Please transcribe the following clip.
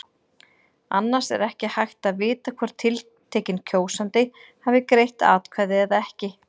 Annars er ekki hægt að vita hvort tiltekinn kjósandi hafi greitt atkvæði eða ekki.